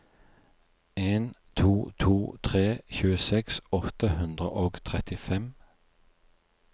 en to to tre tjueseks åtte hundre og trettifem